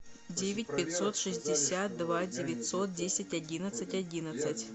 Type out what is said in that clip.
девять пятьсот шестьдесят два девятьсот десять одиннадцать одиннадцать